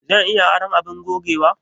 Zan iya aron abin gogewa?